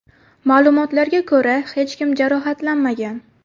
Ma’lumotlarga ko‘ra hech kim jarohatlanmagan.